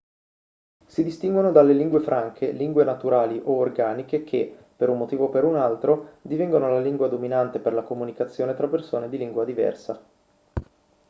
si distinguono dalle lingue franche lingue naturali o organiche che per un motivo o per un altro divengono la lingua dominante per la comunicazione tra persone di lingua diversa